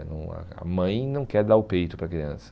Não a a mãe não quer dar o peito para a criança.